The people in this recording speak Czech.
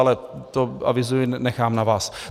Ale to avizuji, nechám na vás.